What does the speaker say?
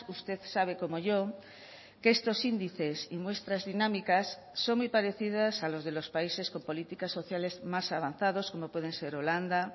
usted sabe como yo que estos índices y muestras dinámicas son muy parecidas a los de los países con políticas sociales más avanzados como pueden ser holanda